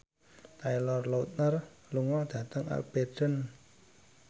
Taylor Lautner lunga dhateng Aberdeen